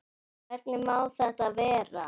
Hvernig má þetta vera?